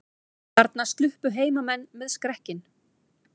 Þarna sluppu heimamenn með skrekkinn